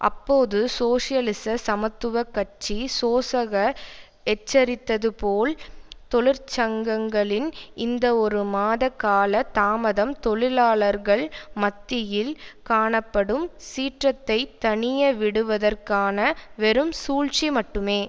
அப்போது சோசியலிச சமத்துவ கட்சி சோசக எச்சரித்தது போல் தொழிற்சங்கங்களின் இந்த ஒரு மாத கால தாமதம் தொழிலாளர்கள் மத்தியில் காணப்படும் சீற்றத்தை தணியவிடுவதற்கான வெறும் சூழ்ச்சி மட்டுமே